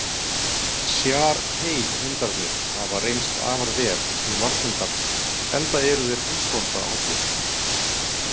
Shar-pei-hundarnir hafa reynst afar vel sem varðhundar enda eru þeir húsbóndahollir.